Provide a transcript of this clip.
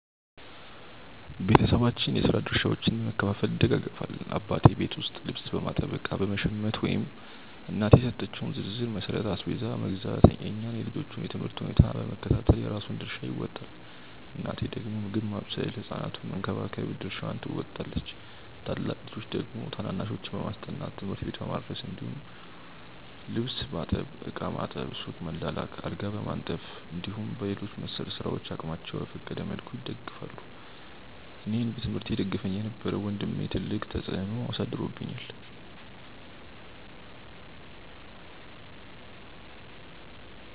ቤተሰባችን የስራ ድርሻዎችን በመከፋፈል ይደጋገፋል። አባቴ ቤት ውስጥ ልብስ በማጠብ፣ እቃ በመሸመት ወይም እናቴ በሰጠችው ዝርዝር መሠረት አስቤዛ መግዛት፣ የእኛን የልጆቹን የ ትምህርት ሁኔታ በመከታተል የራሱን ድርሻ ይወጣል። እናቴ ደግሞ ምግብ ማብሰል ህ ሕፃናቱን በመንከባከብ ድርሻዋን ትወጣለች። ታላቅ ልጆች ደግሞ ታናናሾችን በማስጠናት፣ ትምህርት ቤት በማድረስ እንዲሁም ደግሞ ልብስ ማጠብ፣ ዕቃ ማጠብ፣ ሱቅ መላላክ፣ አልጋ በማንጠፍ እንዲሁም በሌሎች መሰል ስራዎች አቅማቸው በፈቀደ መልኩ ይደግፋሉ። አኔን በትምህርቴ ይደግፈኝ የነበረው ወንድሜ ትልቅ ተፅዕኖ አሳድሮብኛል።